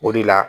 O de la